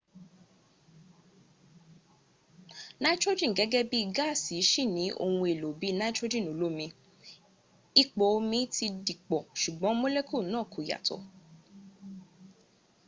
nitrogen gẹ́gẹ́ bí gáàsì ṣì ní ohun èlò bí i nitrogen olómi ipò omi ti dìpọ̀ ṣùgbọ́n molecule náà kò yàtọ